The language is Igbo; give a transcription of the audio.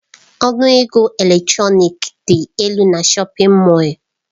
Ọnụ ego elektrọnik dị elu na shọpin Mọll.